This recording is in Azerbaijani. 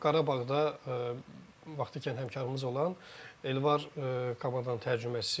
Qarabağda vaxtilə həmkərimiz olan Elvar komandanın tərcüməçisi idi.